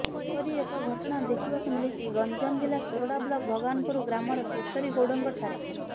ଏପରି ଏକ ଘଟଣା ଦେଖିବାକୁ ମିଳିଛି ଗଞ୍ଜାମ ଜିଲ୍ଲା ସୋରଡ଼ା ବ୍ଲକ୍ ଭଗବାନପୁର ଗ୍ରାମର କେଶରୀ ଗୌଡ଼ଙ୍କ ଠାରେ